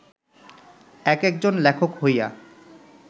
এক-একজন লেখক হইয়া